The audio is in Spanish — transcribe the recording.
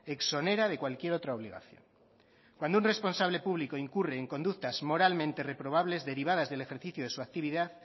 exonera de cualquier otra obligación cuando un responsable público incurre en conductas moralmente reprobables derivadas del ejercicio de su actividad